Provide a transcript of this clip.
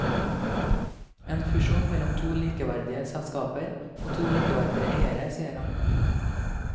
En fusjon mellom to likeverdige selskaper og to likeverdige eiere, sier han.